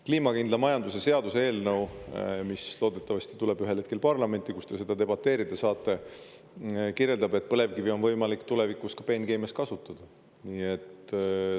Kliimakindla majanduse seaduse eelnõu, mis loodetavasti tuleb ühel hetkel parlamenti, kus te selle üle debateerida saate, kirjeldab, et põlevkivi on võimalik tulevikus ka peenkeemias kasutada.